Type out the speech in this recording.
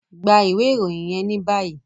Gba iwe iroyin yẹn ni bayi!